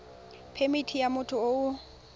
phemithi ya motho yo o